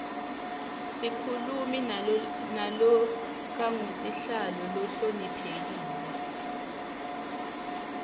sikhulumi nalokangusihlalo lohloniphekile